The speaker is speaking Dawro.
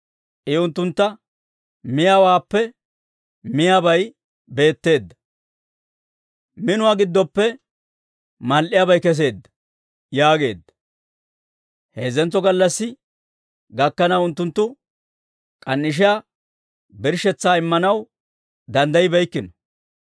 I unttuntta, «Miyaawaappe miyaabay beetteedda; Minuwaa giddoppe mal"iyaabay keseedda» yaageedda. Heezzantso gallassi gakkanaw unttunttu k'an"ishiyaa birshshetsaa immanaw danddaybbeykkino.